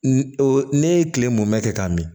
Ne ye kile mɔmɛ kɛ k'a min